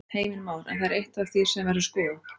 Heimir Már: En það er eitt af því sem verður skoðað?